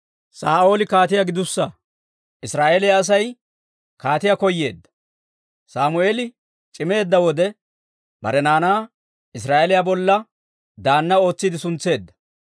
Sammeeli c'imeedda wode, bare naanaa Israa'eeliyaa bolla daanna ootsiidde suntseedda.